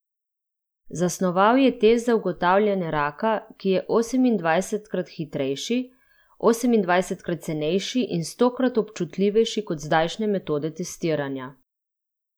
Zasnoval je test za ugotavljanje raka, ki je osemindvajsetkrat hitrejši, osemindvajsetkrat cenejši in stokrat občutljivejši kot zdajšnje metode testiranja.